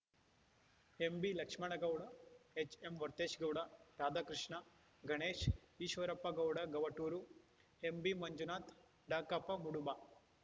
M B Lakshmana Gowda H M Varthesh Gowda Radhakrishna Ganesh Eshwarappa Gowda Gavaturu M B Manjunatha Dakappa Muduba